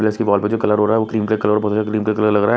Press के wall में जो कलर हो रहा है वो क्रीम बढ़िया क्रीम के कलर लग रहा है।